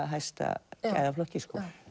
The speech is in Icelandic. hæsta gæðaflokki